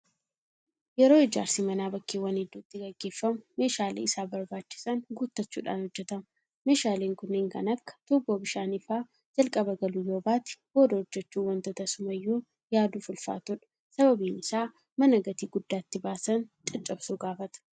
Yeroo ijaarsi manaa bakkeewwan hedduutti gaggeeffamu meeshaalee isaaf barbaachisan guuttachuudhaan hojjetama. Meeshaaleen kun kanneen akka tuubboo bishaanii fa'aa jalqaba galuu yoobaate booda hojjechuun waanta tasumayyuu yaaduuf ulfaatudha. Sababiin isaas mana gatii guddaa itti baasan caccabsuu gaafata.